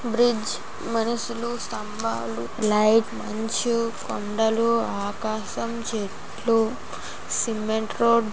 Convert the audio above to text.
bridge మనుషులు స్తంభాలు light మంచు కొండలు ఆకాశం చెట్లు సిమెంట్ రోడ్ --